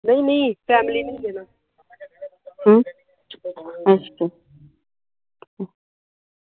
ਨਹੀਂ ਨਹੀਂ family ਨਹੀਂ